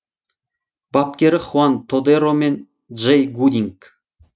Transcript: бапкері хуан тодеро мен джей гудинг